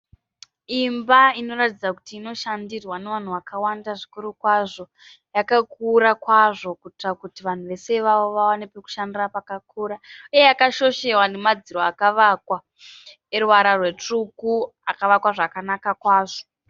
Imba inoratidza kuti inoshandirwa nevanhu vakawanda zvikuru kwazvo. Yakakura zvikuru kwazvo kuitira kuti vanhu vese ivava vawane pekushandira pakura. Uye yakashoshewa nemadziro akavakwa eruvara rwetsvuku akavakwa zvakanaka kwazvo.